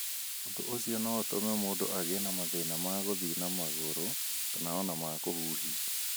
Ũndũ ũcio no ũtũme mũndũ agĩe na mathĩna ma gũthiĩ na magũrũ kana o na ma kũhuhia.